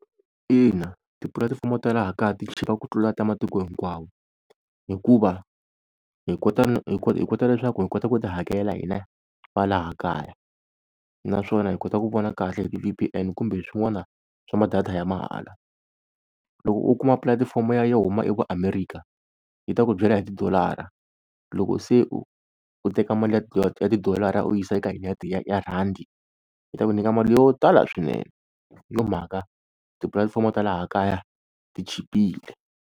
Ina tipulatifomo ta laha kaya ti chipa ku tlula ta matiko hinkwawo, hikuva hi kota hi kota leswaku hi kota ku ti hakela hina va laha kaya. Naswona hi kota ku vona kahle hi ti-V_P_N kumbe swin'wana swa ma-data ya mahala. Loko u kuma pulatifomo ya yo huma yi ku America yi ta ku byela hi tidolara, loko se u, u teka mali ya ya tidolara u yisa eka ya rhandi yi ta ku nyika mali yo tala swinene, hi yo mhaka tipulatifomo ta laha kaya ti chipile.